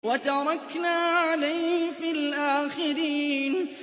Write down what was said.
وَتَرَكْنَا عَلَيْهِ فِي الْآخِرِينَ